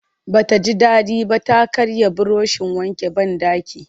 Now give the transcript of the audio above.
Ba ta ji daɗi ba ta karya burushin wankin banɗaki